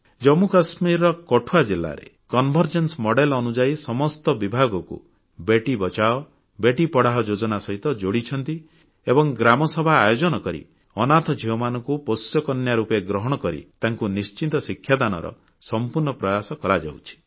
ଜାମ୍ମୁକାଶ୍ମୀରର କଠୱା ଜିଲ୍ଲାରେ convergence model ଅନୁଯାୟୀ ସମସ୍ତ ବିଭାଗକୁ ବେଟୀ ବଚାଓ ବେଟୀ ପଢ଼ାଓ ଯୋଜନା ସହିତ ଯୋଡ଼ିଛନ୍ତି ଏବଂ ଗ୍ରାମସଭା ଆୟୋଜନ କରି ଅନାଥ ଝିଅମାନଙ୍କୁ ପୋଷ୍ୟକନ୍ୟା ରୂପେ ଗ୍ରହଣ କରି ତାଙ୍କୁ ନିଶ୍ଚିତ ଶିକ୍ଷାଦାନର ସମ୍ପୂର୍ଣ୍ଣ ପ୍ରୟାସ କରାଯାଉଛି